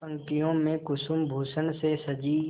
पंक्तियों में कुसुमभूषण से सजी